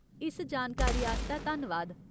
इस सारी जानकारी आस्तै धन्नवाद।